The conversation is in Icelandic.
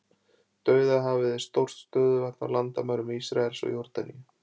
Dauðahafið er stórt stöðuvatn á landamærum Ísraels og Jórdaníu.